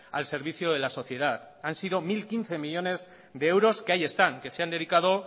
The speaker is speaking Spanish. al servicio de la sociedad han sido mil quince millónes de euros que ahí están que se han dedicado